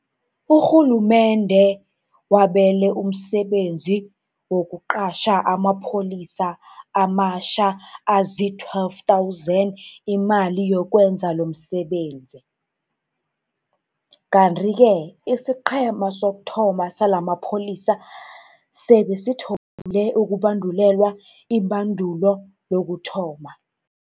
Urhulumende wabele umsebenzi wokuqatjha amapholisa amatjha azii-12 000 imali yokwenza lomsebenzi, kanti-ke isiqhema sokuthoma salamapholisa sebe sithomile ukubandulelwa ibandulo lokuthoma.